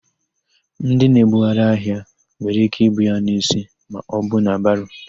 Ndị na-ebugharị ahịa nwere íké ibu ya n'isi maọbụ na baro.